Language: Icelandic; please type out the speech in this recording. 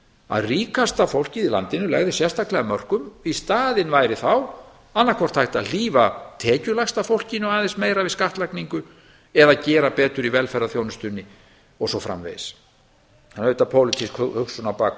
að ríkasta fólkið í landinu legði sérstaklega af mörkum í staðinn væri þá annað hvort hægt að hlífa tekjulægsta fólkinu aðeins meira við skattlagningu eða gera betur í velferðarþjónustunni og svo framvegis það er auðvitað pólitísk hugsun á bak